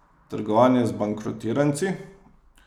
Trgovanje z bankrotiranci?